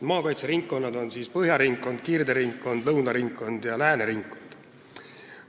Maakaitseringkonnad on Põhja ringkond, Kirde ringkond, Lõuna ringkond ja Lääne ringkond.